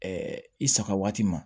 i saga waati ma